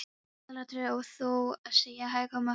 Aðalatriðið er þó að seðja hégóma höfundar.